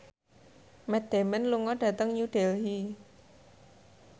Matt Damon lunga dhateng New Delhi